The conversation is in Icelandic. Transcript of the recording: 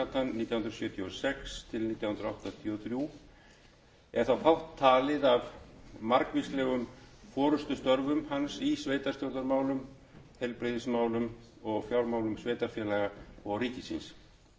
og sex til nítján hundruð áttatíu og þrjú er þá fátt talið af margvíslegum forustustörfum hans í sveitarstjórnarmálum heilbrigðismálum og fjármálum sveitarfélaga og ríkisins